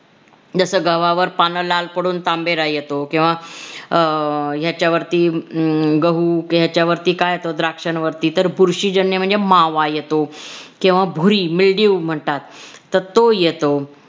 जस गव्हावर पान लाल पडून तांबेरा येतो किंवा अह ह्याच्यावरती गहू हम्म ह्याच्यावरती काय येत द्राक्ष्यांवरती तर बुरशीजन्य म्हणजे मावा येतो किंवा भुरी मिल्डयू म्हणतात. तर तो येतो.